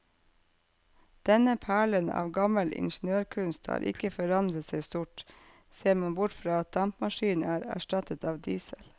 Denne perlen av gammel ingeniørkunst har ikke forandret seg stort, ser man bort fra at dampmaskinen er erstattet av diesel.